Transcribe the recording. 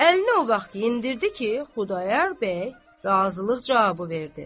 Əlini o vaxt endirdi ki, Xudayar bəy razılıq cavabı verdi.